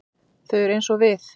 Þau eru eins og við.